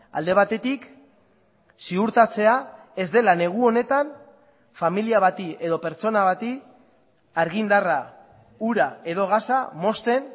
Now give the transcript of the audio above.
alde batetik ziurtatzea ez dela negu honetan familia bati edo pertsona bati argindarra ura edo gasa mozten